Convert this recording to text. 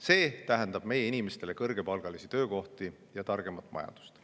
See tähendab meie inimestele kõrgepalgalisi töökohti ja targemat majandust.